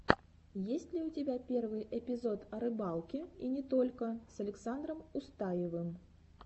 есть ли у тебя первый эпизод о рыбалке и не только с александром устаевым